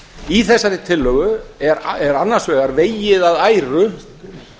í þessari tillögu er annars vegar vegið að æru